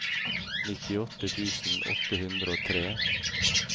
nittiåtte tusen åtte hundre og tre